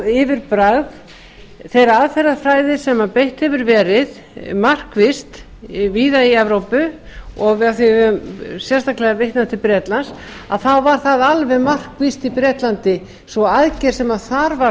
yfirbragð þeirrar aðferðafræði sem beitt hefur verið markvisst víða í evrópu og af því við höfum sérstaklega vitnað til bretlands þá var það alveg markvisst í bretlandi sú aðgerð sem þar var